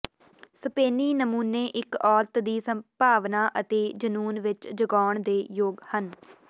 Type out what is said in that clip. ਸਪੇਨੀ ਨਮੂਨੇ ਇਕ ਔਰਤ ਦੀ ਭਾਵਨਾ ਅਤੇ ਜਨੂੰਨ ਵਿੱਚ ਜਗਾਉਣ ਦੇ ਯੋਗ ਹਨ